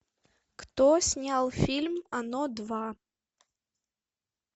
кто снял фильм оно два